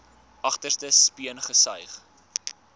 agterste speen gesuig